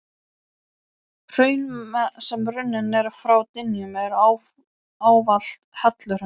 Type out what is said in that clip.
Hraun, sem runnin eru frá dyngjum, eru ávallt helluhraun.